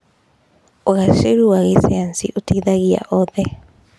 ũgacĩru wa gĩcayanci ũteithagia oothe.